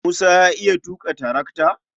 Musa ya iya tuƙa tarakata?